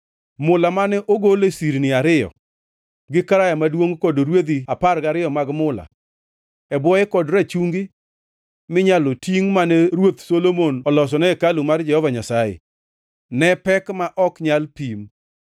Mula mane ogolo e sirni ariyo, gi Karaya Maduongʼ kod rwedhi apar gariyo mag mula e bwoye kod rachungi minyalo tingʼ mane Ruoth Solomon olosone hekalu mar Jehova Nyasaye, ne pek ma ok nyal pim.